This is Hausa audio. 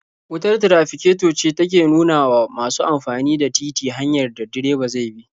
Wutar tirafiketo ce take nuna wa masu amfani da titi hanyar da direba zai bi.